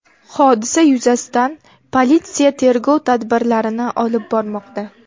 Hodisa yuzasidan politsiya tergov tadbirlarini olib bormoqda.